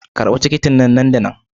karba tikitin nan da nan.